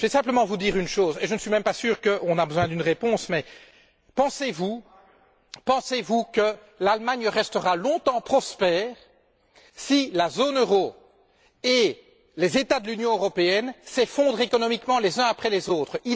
Je vais simplement vous demander une chose et je ne suis même pas sûr qu'on ait besoin d'une réponse pensez vous que l'Allemagne restera longtemps prospère, si la zone euro et les États membres de l'Union européenne s'effondrent économiquement les uns après les autres?